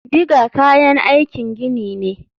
Digger kayan aikin gini ne.